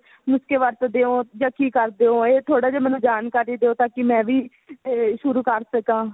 ਨੁਸਖੇ ਵਰਤਦੇ ਹੋ ਜਾ ਕੀ ਕਰਦੇ ਓ ਇਹ ਥੋੜਾ ਜਾ ਮੈਨੂੰ ਜਾਣਕਾਰੀ ਦਿਓ ਤਾਂਕਿ ਮੈਂ ਵੀ ਸ਼ੁਰੂ ਕਰ ਸਕਾਂ